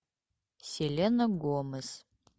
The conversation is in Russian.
селена гомес